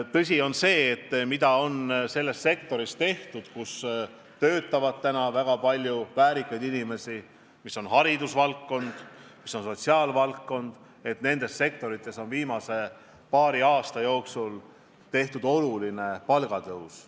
Ja on tõsi, et sektorites, kus töötab väga palju väärikas eas inimesi – need on hariduse ja sotsiaalvaldkond –, on viimase paari aasta jooksul toimunud oluline palgatõus.